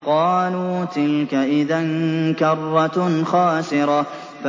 قَالُوا تِلْكَ إِذًا كَرَّةٌ خَاسِرَةٌ